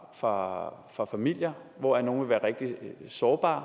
fra fra familier hvoraf nogle vil være rigtig sårbare